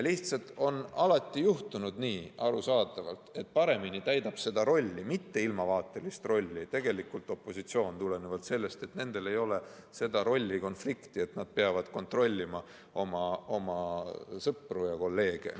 Lihtsalt on alati juhtunud nii, arusaadavalt, et paremini täidab seda mitte ilmavaatelist rolli tegelikult opositsioon, sest nendel ei ole sellist rollikonflikti, et nad peavad kontrollima oma sõpru ja kolleege.